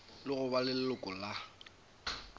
le go ba leloko la